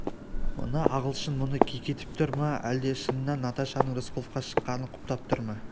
мына ағылшын мұны кекетіп тұр ма әлде шыннан наташаның рысқұловқа шыққанын құптап тұр ма